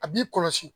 A b'i kɔlɔsi